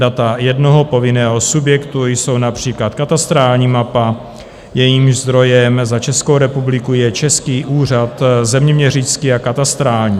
Data jednoho povinného subjektu jsou například katastrální mapa, jejímž zdrojem za Českou republiku je Český úřad zeměměřický a katastrální.